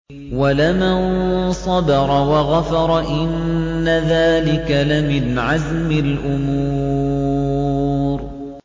وَلَمَن صَبَرَ وَغَفَرَ إِنَّ ذَٰلِكَ لَمِنْ عَزْمِ الْأُمُورِ